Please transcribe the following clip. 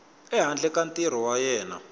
ehandle ka ntirho wa yena